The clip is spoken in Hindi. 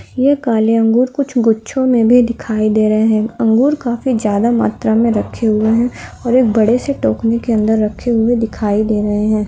यह काले अंगूर कुछ गुच्छों में दिखाई दे रहे है। अंगूर काफी ज्यादा मात्र में रखे हुए है। और एक बड़े से टोकरी के अंदर रखे हुए दिखाई दे रहे है।